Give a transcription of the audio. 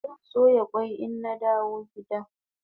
Zan soya kwai ina dawo gida